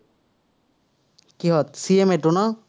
কিহত, CMA টো ন?